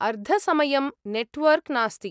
अर्धसमयं network नास्ति।